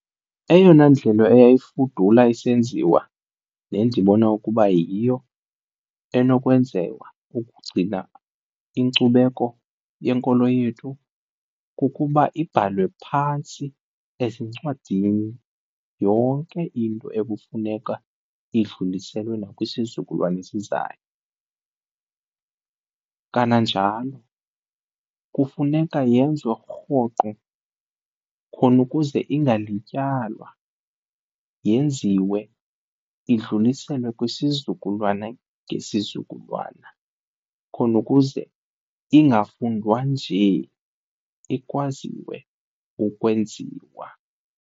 Eyona ndlela eyayifudula isenziwa nendibona ukuba yiyo enokwenziwa ukugcina inkcubeko yenkolo yethu kukuba ibhalwe phantsi ezincwadini yonke into ekufuneka idluliselwe nakwisizukulwana esizayo. Kananjalo kufuneka yenziwe rhoqo khona ukuze ingalityalwa, yenziwe idluliselwe kwisizukulwana ngesizukulwana khona ukuze ingafundwa nje ikwaziwe ukwenziwa.